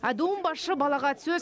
адуын басшы балағат сөз